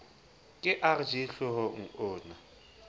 ke rg hlohong o na